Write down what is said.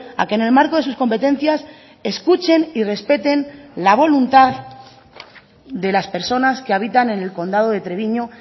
a que en el marco de sus competencias escuchen y respeten la voluntad de las personas que habitan en el condado de treviño